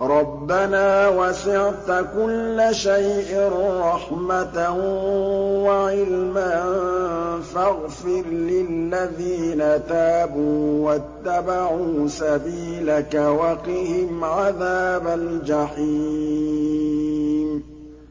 رَبَّنَا وَسِعْتَ كُلَّ شَيْءٍ رَّحْمَةً وَعِلْمًا فَاغْفِرْ لِلَّذِينَ تَابُوا وَاتَّبَعُوا سَبِيلَكَ وَقِهِمْ عَذَابَ الْجَحِيمِ